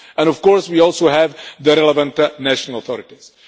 And of course we also have the relevant national authorities.